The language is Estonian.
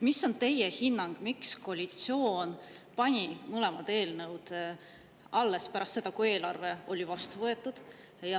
Mis on teie hinnang, miks koalitsioon pani mõlemad eelnõud alles pärast seda, kui eelarve oli vastu võetud?